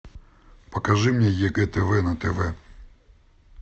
покажи мне егэ тв на тв